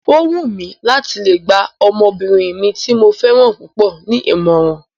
O wù mí láti lè gba ọmọbìnrin mi tí mo fẹ́ràn púpọ̀ ní ìmọ̀ràn